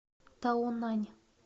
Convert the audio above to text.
таонань